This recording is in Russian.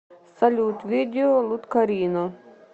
салют видео луткарино